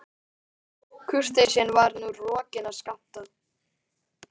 Kurteisin var nú rokin af Skapta.